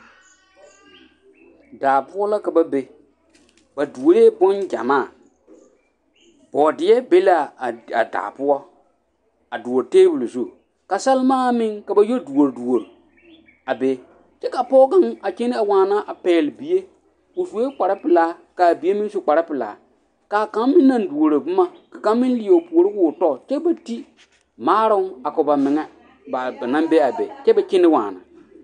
Daa poɔ ka ba be ba doore boŋ gymaa boodeɛ be a daa poɔa doore tabol zu